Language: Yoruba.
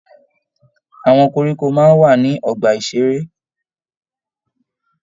Àwọn koríko máa ń wà ní ọgbà-ìṣeré.